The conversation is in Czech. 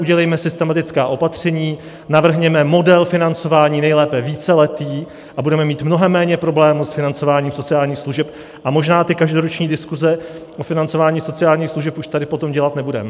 Udělejme systematická opatření, navrhněme model financování, nejlépe víceletý, a budeme mít mnohem méně problémů s financováním sociálních služeb a možná ty každoroční diskuse o financování sociálních služeb už tady potom dělat nebudeme.